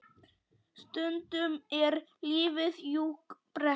Stundum er lífið jú brekka.